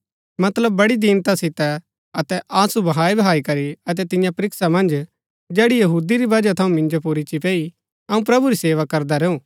मतलब बड़ी दीनता सितै अतै आँसू बहाईबहाई करी अतै तियां परीक्षा मन्ज जैड़ी यहूदी री वजह थऊँ मिन्जो पुर ईच्ची पैई अऊँ प्रभु री सेवा करदा रैऊ